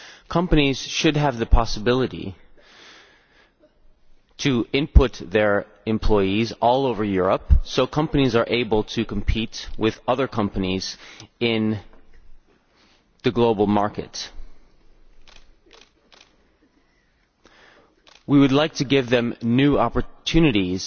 Companies should have the possibility to input their employees all over Europe so companies are able to compete with other companies in the Single market. We would like to give them new opportunities